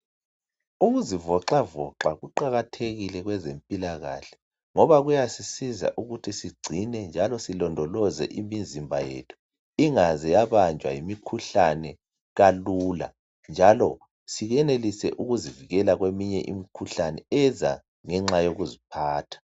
Ukuzivoxavoxa kuqakathekile kwezempilakahle ngoba kuyasisiza ukuthi sigcine njalo silondoloze imizimba yethu, ingaze yabanjwa yimikhuhlane kalula njalo siyenelise ukuzivikela kweminye imikhuhlane eza ngenxa yokuziphatha.